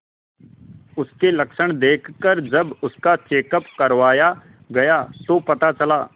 उसके लक्षण देखकरजब उसका चेकअप करवाया गया तो पता चला